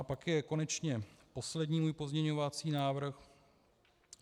A pak je konečně poslední můj pozměňovací návrh.